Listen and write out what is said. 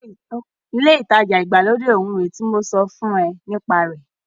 Ilé ìtajà ìgbàlódé òún rèé tí mo sọ fún ọ nípa rẹ̀.